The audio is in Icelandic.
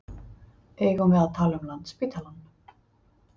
Eigum við að tala um Landspítalann?